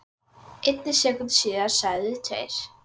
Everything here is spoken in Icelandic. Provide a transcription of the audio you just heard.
einni sekúndu síðar segðu tveir